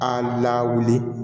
An lawuli